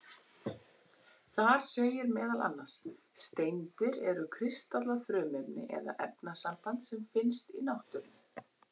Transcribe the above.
Þar segir meðal annars: Steindir eru kristallað frumefni eða efnasamband sem finnst í náttúrunni.